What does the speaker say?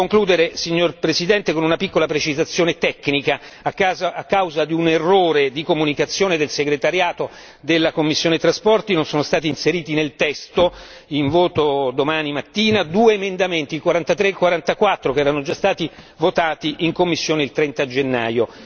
Vorrei concludere, signora Presidente, con una piccola precisazione tecnica, a causa di un errore di comunicazione del segretariato della commissione per i trasporti, non sono stati inseriti nel testo, in voto domani mattina, due emendamenti il 43 e il 44, che erano già stati votati in commissione il 30 gennaio.